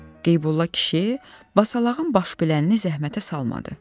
Qeybulla kişi basalağın başbilənini zəhmətə salmadı.